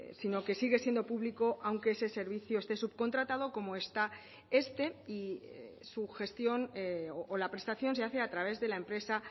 sino que sigue siendo público aunque ese servicio esté subcontratado como está este y su gestión o la prestación se hace a través de la empresa